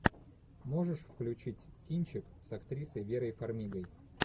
можешь включить кинчик с актрисой верой фармигой